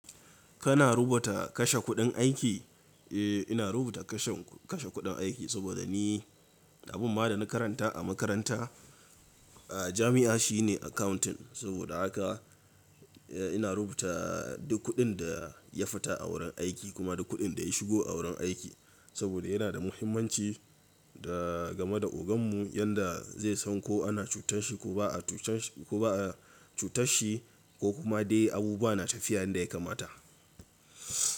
Kana rubuta kashe kuɗin aiki? Eh, ina rubuta kashe kuɗin aiki saboda ni abin ma da na karanta a makaranta, a jami'a shine accounting. Saboda haka ina rubuta duk kuɗin da ya fita a wurin aiki kuma duk kuɗin da ya shigo a wurin aiki. Saboda yana da muhimmanci da game da oganmu yanda zai san ko ana cutarshi ko ba'a cutarshi ko kuma dai abubuwa na tafiya yadda ya kamata.